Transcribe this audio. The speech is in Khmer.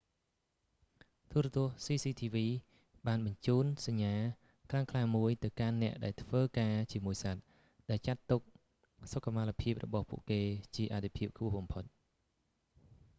ទូរទស្សន៍ cctv បានបញ្ជូនសញ្ញាខ្លាំងក្លាមួយទៅកាន់អ្នកដែលធ្វើការជាមួយសត្វ ដែលចាត់ទុកសុខុមាលភាពរបស់ពួកគេជាអាទិភាពខ្ពស់បំផុត